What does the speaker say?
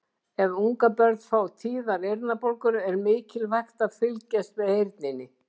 Ef ungabörn fá tíðar eyrnabólgur er mikilvægt að fylgjast með heyrninni.